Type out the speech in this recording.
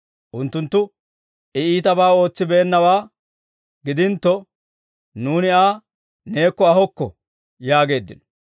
Unttunttu, «I iitabaa ootsibeennawaa gidintto, nuuni Aa neekko ahokko» yaageeddino.